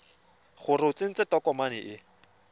gore o tsentse tokomane e